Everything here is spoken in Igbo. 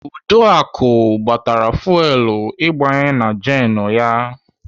Uduaku gbatara fuwelu igbanye na jenụ ya.